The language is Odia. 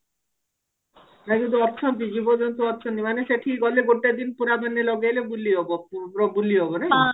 ଅଛନ୍ତି ଜୀବଜନ୍ତୁ ଅଛନ୍ତି ମାନେ ସେଠିକି ଗଲେ ଗୋଟେ ଦିନ ପୁରା ମାନେ ଲଗେଇଲେ ବୁଲି ହବ ପ ବୁଲି ହବ ନାଇଁ